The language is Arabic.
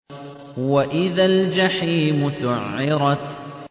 وَإِذَا الْجَحِيمُ سُعِّرَتْ